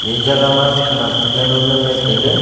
e jagah ma khanak jawnu ngan le tailey.